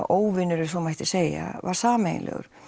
óvinur ef svo mætti segja var sameiginlegur